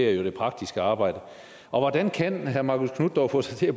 er det praktiske arbejde hvordan kan herre marcus knuth dog få sig til at